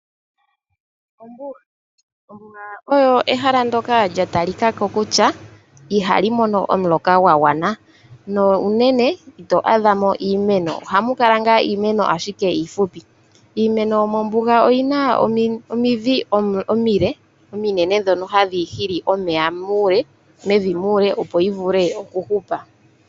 Ombuga. Ombuga oyo ehala ndoka lya talikako kutya ihali mono omuloka gwa gwana. No unene ito adha mo iimeno. Ohamu kala iimeno ashike iifupi. Iimeno yomombuga oyi na omidhi omile, omunene ndhono hadhi hili omeya mevi muule.